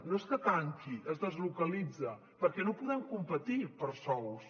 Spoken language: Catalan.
no és que tanqui es deslocalitza perquè no podem competir per sous